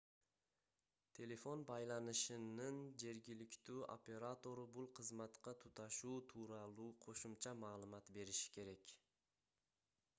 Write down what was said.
телефон байланышынын жергиликтүү оператору бул кызматка туташуу тууралуу кошумча маалымат бериши керек